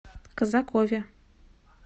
казакове